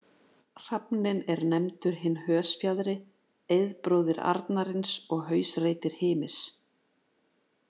Hrafninn er nefndur hinn hösfjaðri, eiðbróðir arnarins og hausreytir Hymis.